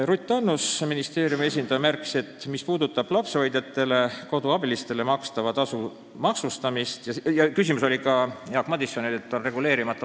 Jaak Madison mainis ka reguleerimata maksustamist, mis võib olla probleemne küsimus.